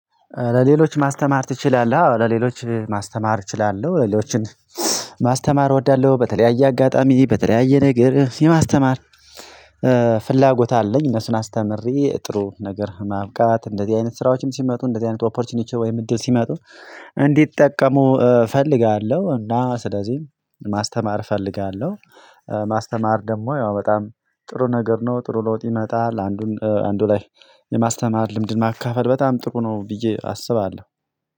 ለሌሎች ማስተማር ትችላለህ ለሌሎች ማስተማር እችላለሁ ሌሎችን ማስተማር እወዳለሁ። በተለያየ አጋጣሚ በተለያየ ነገር የማስተማር ፍላጎት አለኝ። እነሱን አስተምሬ ጥሩ ነገር ማብቃት እንደዚህ አይነት ስራዎችም ሲመጡ እንደዚህ አይነት ኦፖርቹኒቲዎች ወይም እድል ሲመጡ እንዲጠቀሙ እፈልጋለሁ። እና ስለዚህ ማስተማር ፈልጋለሁ። ማስተማር ደግሞ ያው በጣም ጥሩ ነገር ነው ጥሩ ለውጥ ይመጣል። አንዱን አንዱ ላይ የማስተማር ልምድን ማካፈል በጣም ጥሩ ነው። ብዬ አስባለሁ።